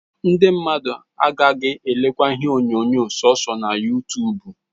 Ndi mmadu agagi elekwa ihe onyonyo soso na yutubu